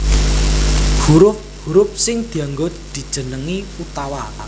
Hurup hurup sing dianggo dijenengi utawa